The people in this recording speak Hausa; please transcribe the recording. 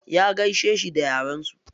Ya gaishe shi da yaren su.